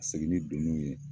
Segin ni donnuw ye